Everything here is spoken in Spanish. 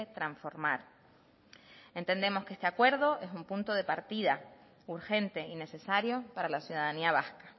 transformar entendemos que este acuerdo es un punto de partida urgente y necesario para la ciudadanía vasca